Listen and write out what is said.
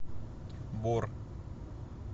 бор